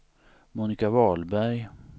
Monika Wahlberg